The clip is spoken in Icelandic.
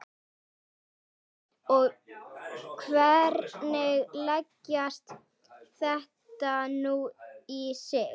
Þórhildur: Og hvernig leggst þetta nú í þig?